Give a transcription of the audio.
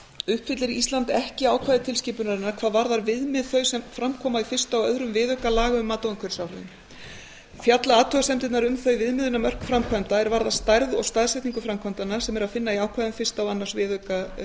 uppfyllir ísland ekki ákvæði tilskipunarinnar hvað varðar viðmið þau sem fram koma í fyrsta og öðrum viðauka laga um mat á umhverfisáhrifum fjalla athugasemdirnar um þau viðmiðunarmörk framkvæmda er varða stærð og staðsetningu framkvæmdanna sem er að finna í ákvæðum fyrstu og öðrum viðauka